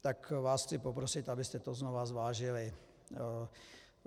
Tak vás chci poprosit, abyste to znovu zvážili.